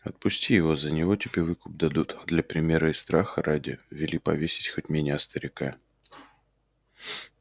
отпусти его за него тебе выкуп дадут а для примера и страха ради вели повесить хоть меня старика